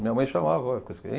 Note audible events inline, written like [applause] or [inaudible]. Minha mãe chamava. [unintelligible]